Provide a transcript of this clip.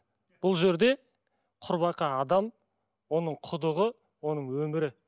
бұл жерде құрбақа адам оның құдығы оның өмірі